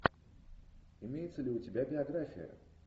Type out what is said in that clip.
имеется ли у тебя биография